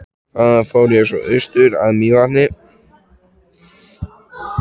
Þaðan fór ég svo austur að Mývatni.